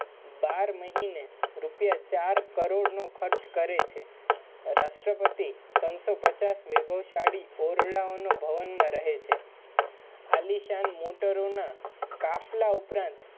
બાર મહિને રુપિયા ચાર કરોડ ના ખરચ કરે છે રાષ્ટ્રપતિ ત્રણ સો પચ્ચાસ વૈભવશાળી ઓલવન્નમા રહે છે આલીશાન મોટોરોના કાફલા ઉપરાંત